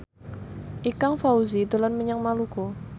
Ikang Fawzi dolan menyang Maluku